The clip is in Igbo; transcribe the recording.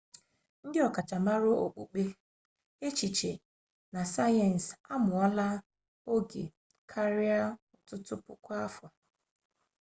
ndị ọkachamara okpukpe echiche na sayensị a mụọla oge ruo ọtụtụ puku afọ